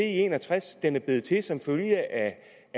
en og tres den er blevet til som følge